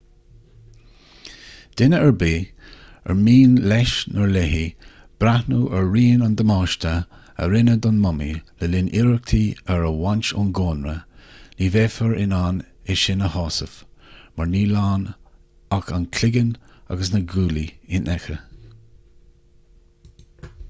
duine ar bith ar mian leis/léi breathnú ar rian an damáiste a rinneadh don mumaí le linn iarrachtaí ar a bhaint ón gcónra ní bheifear in ann é sin a shásamh mar níl ach an cloigeann agus na guaillí infheicthe